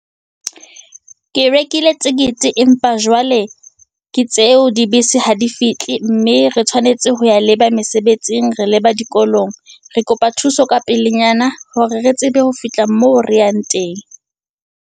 Ke rekile tekete empa jwale ke tseo dibese ha di fihle, mme re tshwanetse ho ya leba mesebetsing, re leba dikolong, re kopa thuso ka pelenyana, hore re tsebe ho fihla moo re yang teng.